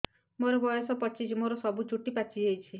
ମୋର ବୟସ ପଚିଶି ମୋର ସବୁ ଚୁଟି ପାଚି ଯାଇଛି